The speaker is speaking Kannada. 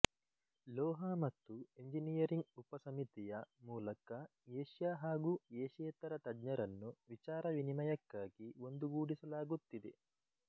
ಲೋಹ ಮತ್ತು ಎಂಜಿನಿಯರಿಂಗ್ ಉಪಸಮಿತಿಯ ಮೂಲಕ ಏಷ್ಯ ಹಾಗೂ ಏಷ್ಯೇತರ ತಜ್ಞರನ್ನು ವಿಚಾರ ವಿನಿಮಯಕ್ಕಾಗಿ ಒಂದುಗೂಡಿಸಲಾಗುತ್ತಿದೆ